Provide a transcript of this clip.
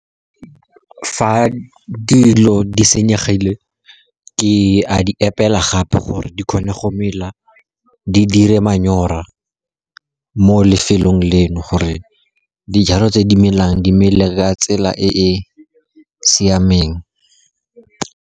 Fa dilo di senyegile, ke a di epela gape gore di kgone go mela, di dire manyora mo lefelong leno gore dijalo tse di melang di mele ka tsela e e siameng.